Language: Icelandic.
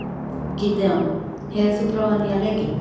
Gídeon, hefur þú prófað nýja leikinn?